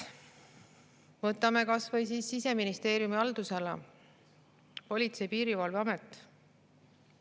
Võtame näiteks kas või Siseministeeriumi haldusalas Politsei‑ ja Piirivalveameti.